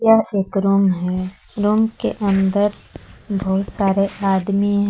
पास एक रूम है रूम के अंदर बहुत सारे आदमी हैं।